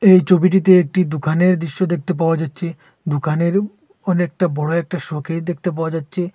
এই ছবিটিতে একটি দোকানের দৃশ্য দেখতে পাওয়া যাচ্ছে দোকানের অনেকটা বড় একটা শোকেস দেখতে পাওয়া যাচ্ছে।